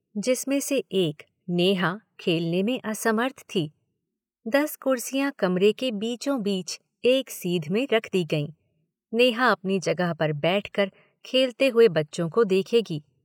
जिसमें से एक, नेहा खेलने में असमर्थ थी। दस कुर्सियाँ कमरे के बीचोंबीच एक सीध में रख दी गयीं। नेहा अपनी जगह पर बैठ कर खेलते हुए बच्चों को देखेगी।